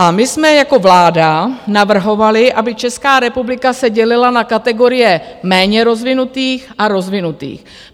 A my jsme jako vláda navrhovali, aby Česká republika se dělila na kategorie méně rozvinutých a rozvinutých.